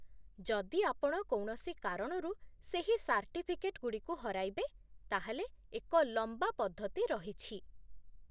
ଯଦି ଆପଣ କୌଣସି କାରଣରୁ ସେହି ସାର୍ଟିଫିକେଟ୍ ଗୁଡ଼ିକୁ ହରାଇବେ, ତା'ହେଲେ ଏକ ଲମ୍ବା ପଦ୍ଧତି ରହିଛି